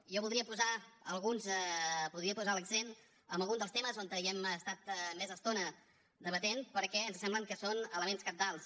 jo voldria posar l’accent en algun dels temes on hem estat més estona debatent perquè ens sembla que són elements cabdals